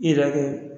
I yɛrɛ kɛ